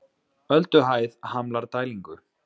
Ölduhæð hamlar dælingu